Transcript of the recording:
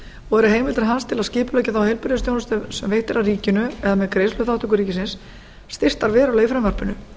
og eru heimildir hans til að skipuleggja þá heilbrigðisþjónustu sem veitt er af ríkinu eða með greiðsluþátttöku ríkisins styrktar verulega í frumvarpinu